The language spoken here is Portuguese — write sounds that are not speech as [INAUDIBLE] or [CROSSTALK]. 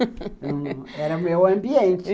[LAUGHS] Era meu ambiente.